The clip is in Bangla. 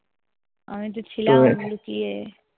আমি তো ছিলাম লুকিয়ে।